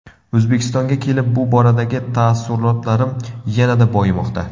O‘zbekistonga kelib bu boradagi taassurotlarim yanada boyimoqda.